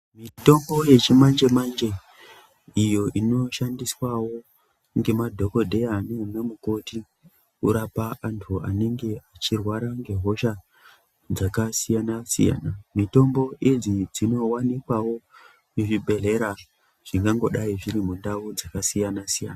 Mitombo yechimanje-manje iyo inoshandiswawo ngemadhokodheya nana mukoti kurapa antu anenge achirwara ngehosha dzakasiyana -siyana, mitombo idzi dzinowanikwawo muzvibhehlera zvinganhodai zviri munharaunda dzakasiyana-siyana.